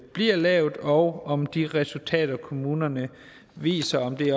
bliver lavet og om de resultater kommunerne viser